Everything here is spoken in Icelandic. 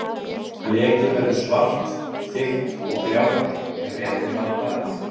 Blekið verður svart, þykkt og gljáandi ef rétt er að farið.